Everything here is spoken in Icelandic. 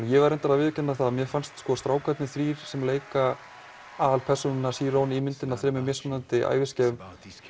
ég verð reyndar að viðurkenna það að mér fannst strákarnir þrír sem leika aðalpersónuna Chiron í myndinni á þremur mismunandi æviskeiðum